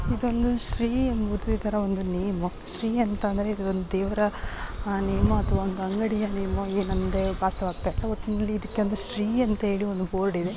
ಇದೊಂದು ಶ್ರೀ ಎಂಬುವುದು ಇದರ ಒಂದು ನೆಮು ಶ್ರೀ ಅಂತ ಅಂದರೆ ಇದೊಂದು ದೆವರ ನೆಮು ಅಥವಾ ಒಂದು ಅಂಗಡಿ ನೆಮು ಎನ್‌ ಎಂದೆ ವಾಸವಾಗ್ತಾ ಇಲ್ಲ .